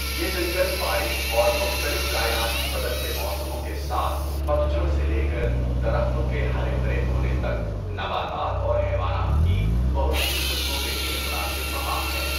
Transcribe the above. یہ جنگل بارش اور مختلف کائناتی بدلتے موسموں کے ساتھ، پتھ جھڑ سے لے کر درختوں کے ہرے بھرے ہونے تک، نباتات اور حیوانات کی بہت سی قسموں کے لیے مناسب مقام ہے۔